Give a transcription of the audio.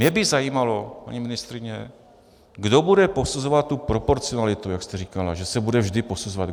Mě by zajímalo, paní ministryně, kdo bude posuzovat tu proporcionalitu, jak jste říkala, že se bude vždy posuzovat.